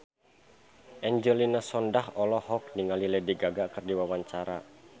Angelina Sondakh olohok ningali Lady Gaga keur diwawancara